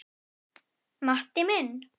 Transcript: Matti minn.